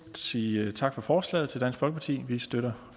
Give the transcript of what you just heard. sige tak for forslaget til dansk folkeparti vi støtter